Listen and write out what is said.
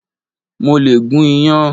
Mo lè gún iyán.